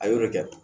A y'o de kɛ